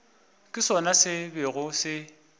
ke sona se bego se